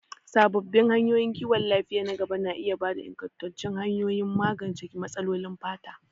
Sabbin hanyoyin kiwon lafiya na gaba na iya ba da ingantattun hanyoyin magance matsalolin fata.